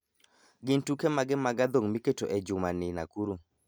Gin tuke mage mag adhong' miketo e jumani nakuru?